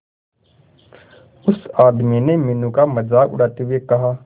उस आदमी ने मीनू का मजाक उड़ाते हुए कहा